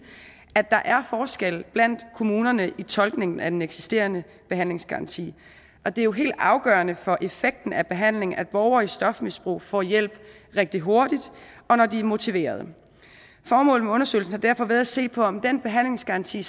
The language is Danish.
at der er forskel blandt kommunerne i tolkningen af den eksisterende behandlingsgaranti og det er jo helt afgørende for effekten af behandlingen at borgere i stofmisbrug får hjælp rigtig hurtigt og når de er motiverede formålet med undersøgelsen har derfor været at se på om den behandlingsgaranti